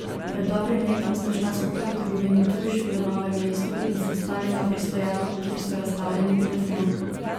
Pred dobrim letom sta šla skupaj v trgovino Tuš v Novem mestu in se ustavila pri stojalu, kjer so razstavljeni telefoni.